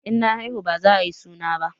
In na haihu baza ayi suna ba